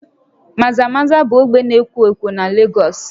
Maza-Maza bụ ogbe na-ekwo ekwo na Lagos